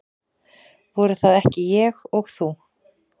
Voru það ekki ég og þú?